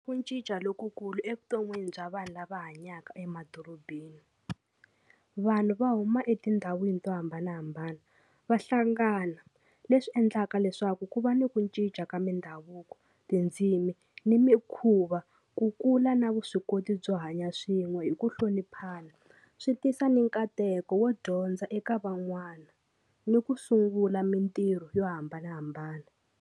Ku cinca lokukulu evuton'wini bya vanhu lava hanyaka emadorobeni vanhu va huma etindhawini to hambanahambana va hlangana leswi endlaka leswaku ku va ni ku cinca ka mindhavuko tindzimi ni mikhuva ku kula na vuswikoti byo hanya swin'we hi ku hloniphana swi tisa ni nkateko wo dyondza eka van'wana ni ku sungula mintirho yo hambanahambana.